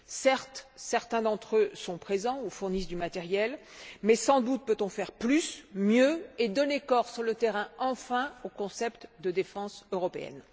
Certes, certains d'entre eux sont présents ou fournissent du matériel mais, sans doute, peut on faire plus, mieux et donner corps sur le terrain, enfin, au concept de défense européenne.